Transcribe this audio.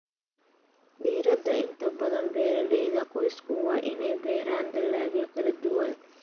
Diirada inta badan beeraleyda qoysku waa inay beeraan dalagyo kala duwan.